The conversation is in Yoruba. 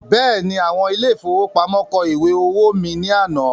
Bẹ́ẹ̀ni, àwọn ile-ìfowópamó kọ ìwé owó mí ní àná